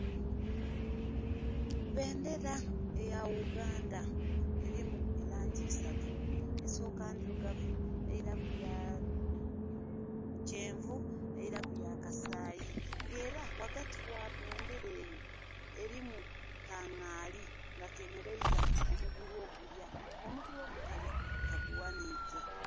Bendera eya Uganda elimu elangi isatu. Esooka ndirugavu, eiraku ya kyenvu, eiraku ya kasayi. Nga era ghagati gha bendera eyo elimu ka ngaali nga kemeleiza omugulu ogulya, omugulu ogutalya kagughaniike.